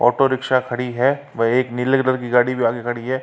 Auto rickshaw खड़ी है व एक नीले कलर की गाड़ी भी आगे खड़ी है।